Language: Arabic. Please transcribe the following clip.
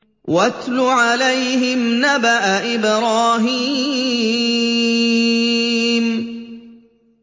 وَاتْلُ عَلَيْهِمْ نَبَأَ إِبْرَاهِيمَ